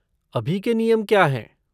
अभी के नियम क्या हैं?